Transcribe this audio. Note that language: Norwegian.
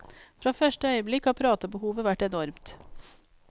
Fra første øyeblikk har pratebehovet vært enormt.